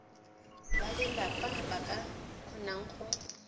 balelapa ba ka kgonang go